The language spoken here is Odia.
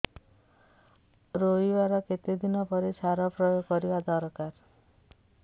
ରୋଈବା ର କେତେ ଦିନ ପରେ ସାର ପ୍ରୋୟାଗ କରିବା ଦରକାର